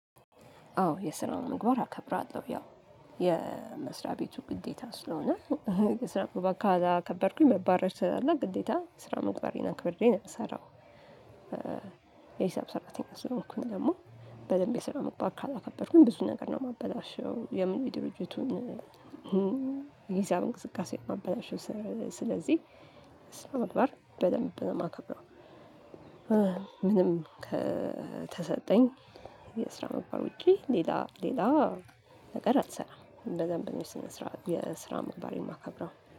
አዎ የስራውን ምግባር አከብራለሁ ያው የመስሪያ ቤቱ ግዴታ ስለሆነ የስራውን ካላከበርኩኝ መባረር ስላለ ግዴታ ስራ መግባሬን አክብሬ ነው የምሰራው። የሂሳብ ሰራተኛ ስለሆንኩኝ ደግሞ በደንብ የሰራ መግባት ካላከበርኩኝ ብዙ ነገር ነው የማበላሸው ለምን ድርጅቱን የሂሳብ እንቅስቃሴ ማበላሸት። ስለዚህ ስነምግባር በደንብ ነው የማከብረው። ምንም ከተሰጠኝ የስራ ምግባር ውጪ ሌላ ሌላ ሌላ ነገር አትሰራም። በደንብ እንደዚህ ስንሰራ የስራ ማባሪያ ማከብራው